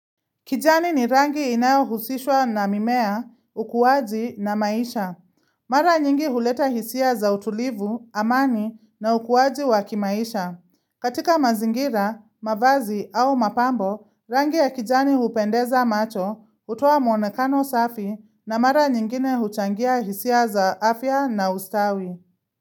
Kijani ni rangi inayo husishwa na mimea, ukuwaji na maisha. Mara nyingi huleta hisia za utulivu, amani na ukuwaji wakimaisha. Katika mazingira, mavazi au mapambo, rangi ya kijani hupendeza macho, hutaoa mwonekano safi na mara nyingine huchangia hisia za afya na ustawi.